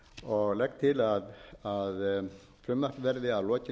og legg til að frumvarpinu verði að lokinni